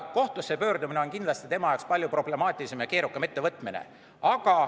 Kohtusse pöördumine on kindlasti palju problemaatilisem ja keerukam ettevõtmine.